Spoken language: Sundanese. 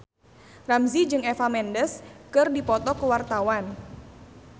Ramzy jeung Eva Mendes keur dipoto ku wartawan